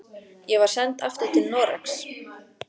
Ég var send aftur til Noregs.